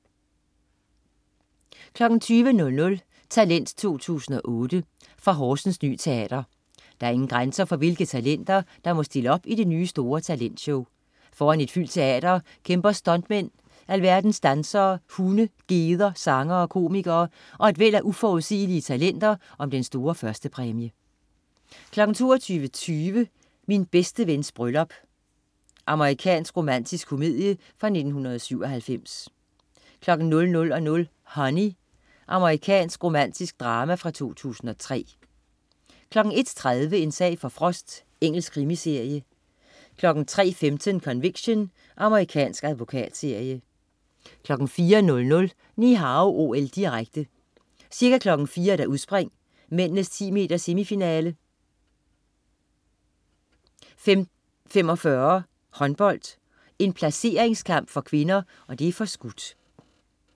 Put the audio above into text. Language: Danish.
20.00 Talent 2008. Fra Horsens Ny Teater. Der er ingen grænser for, hvilke talenter der må stille op i det nye store talentshow. Foran et fyldt teater kæmper stuntmænd, alverdens dansere, hunde, geder, sangere, komikere og et væld af uforudsigelige talenter om den store førstepræmie 22.20 Min bedste vens bryllup. Amerikansk romantisk komedie fra 1997 00.00 Honey. Amerikansk romantisk drama fra 2003 01.30 En sag for Frost. Engelsk krimiserie 03.15 Conviction. Amerikansk advokatserie 04.00 Ni Hao OL, direkte. Ca. kl. 4.00: Udspring, mændenes 10 meter-semifinale. 5.45: Håndbold, en placeringskamp for kvinder (forskudt)